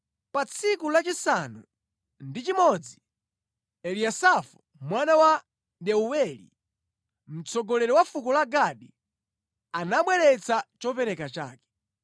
Pa tsiku lachisanu ndi chimodzi, Eliyasafu mwana wa Deuweli, mtsogoleri wa fuko la Gadi, anabweretsa chopereka chake.